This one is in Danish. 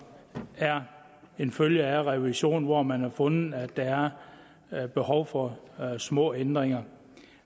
er en følge af revisionen og hvor man har fundet at der er behov for små ændringer